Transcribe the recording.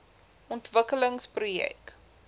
ontwikkelingsprojek